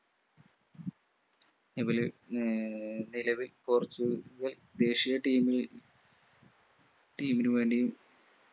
ഇവര് ഏർ നിലവിൽ പോർച്ചുഗൽ ദേശീയ team ൽ team നുവേണ്ടിയും